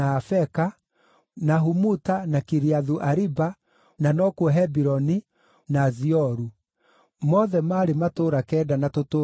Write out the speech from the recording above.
Humuta, na Kiriathu-Ariba (na no kuo Hebironi), na Zioru; mothe maarĩ matũũra kenda na tũtũũra twamo.